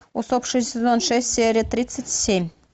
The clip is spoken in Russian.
усопшие сезон шесть серия тридцать семь